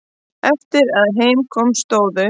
Eftir að heim kom stóðu